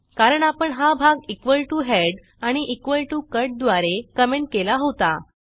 कारण आपण हा भाग इक्वॉल टीओ हेड आणि इक्वॉल टीओ कट द्वारे कॉमेंट केला होता